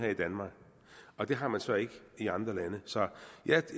i danmark og det har man så ikke i andre lande så jeg